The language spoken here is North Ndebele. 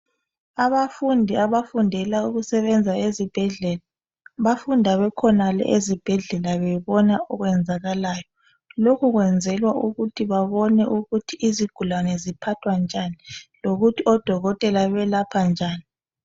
Abafundi abafundela ukusebenza ezibhedlela bafunda bekhonale ezibhedlela bebona okwenzakalayo lokhu kwenzelwa ukuthi babone ukuthi izigulaze ziphathwa njani lokuthi odokotela belapha njani